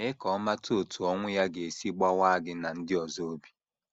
Mee ka ọ mata otú ọnwụ ya ga - esi gbawaa gị na ndị ọzọ obi.